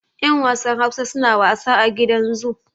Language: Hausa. yan wasan Hausa suna wasa a gidan zu